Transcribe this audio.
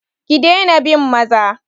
Ki daina bin maza!